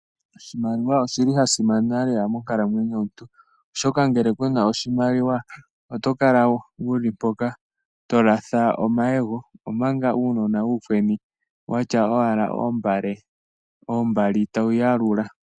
Oshimaliwa oshi li sha simana lela monkalamweyo yomuntu, oshoka ngele ku na oshimaliwa oto kala wu li po ngaa to latha omayego, omanga uunona uukweni watya owala oombali tawu yalula.